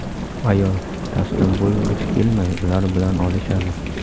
Ayol taslim bo‘lgisi kelmay ular bilan olishadi.